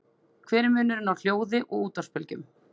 Hver er munurinn á hljóði og útvarpsbylgjum?